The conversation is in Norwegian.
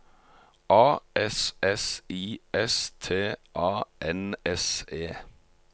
A S S I S T A N S E